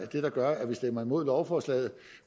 der gør at vi stemmer imod lovforslaget